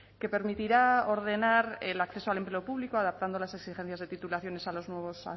que permitirá ordenar el acceso al empleo público adaptando las exigencias de titulaciones a los nuevos